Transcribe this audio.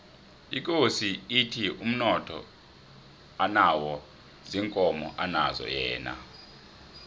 ikosi ithi umnotho anawo ziinkomo anazo yena